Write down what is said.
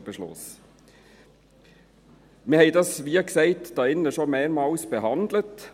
Wir haben dies hier drin – wie gesagt – schon mehrmals behandelt.